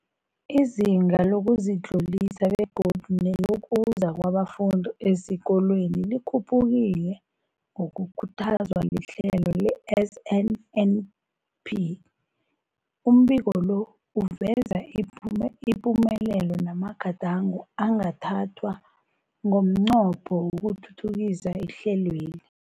Izinga lokuzitlolisa begodu nelokuza kwabafundi esikolweni likhuphukile ngokukhuthazwa lihlelo le-SNNP. Umbiko lo uveza ipumelelo namagadango angathathwa ngomnqopho wokuthuthukisa ihlelweli.